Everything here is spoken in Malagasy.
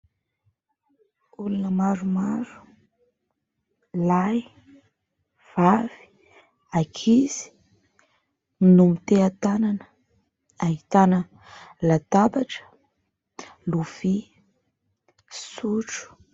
Olona maromaro: lahy, vavy, ankizy no miteha-tanana; ahitana latabatra, lovia, sotro.